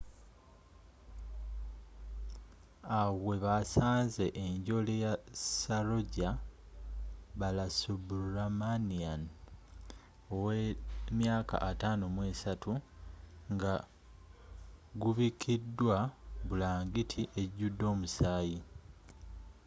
awo webasanze enjole ya saroja balasubramanian 53 nga gubikiddwa bulangiti ejudde omusaayi